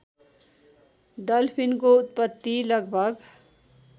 डल्फिनको उत्पत्ति लगभग